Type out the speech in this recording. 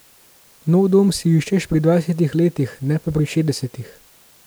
Nov dom si iščeš pri dvajsetih letih, ne pa pri šestdesetih.